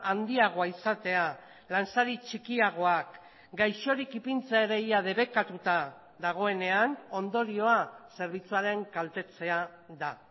handiagoa izatea lansari txikiagoak gaixorik ipintzea ere ia debekatuta dagoenean ondorioa zerbitzuaren kaltetzea da